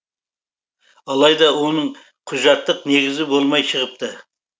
алайда оның құжаттық негізі болмай шығыпты